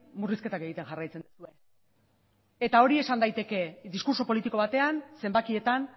murrizketak egiten jarraitzen duzue eta hori esan daiteke diskurtso politiko batean zenbakietan